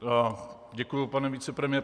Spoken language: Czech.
Děkuji, pane vicepremiére.